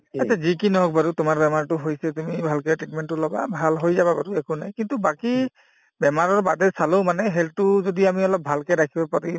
এইতে যি কি নহওঁক বাৰু তোমাৰ বেমাৰটো হৈছে তুমি ভালকে treatment তো লবা ভাল হৈ যাবা বাৰু একো নাই কিন্তু বাকি বেমাৰৰ বাদে চালোও মানে health তো যদি আমি অলপ ভালকে ৰাখিব পাৰো